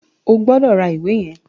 O gbọdọ̀ ra ìwé yẹn.